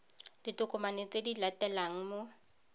ditokomane tse di latelang mo